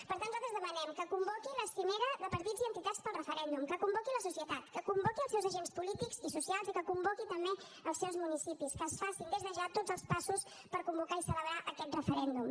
per tant nosaltres demanem que convoqui la cimera de partits i entitats pel referèndum que convoqui la societat que convoqui els seus agents polítics i socials i que convoqui també els seus municipis que es facin des de ja tots els passos per convocar i celebrar aquest referèndum